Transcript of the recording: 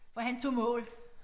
For han tog mål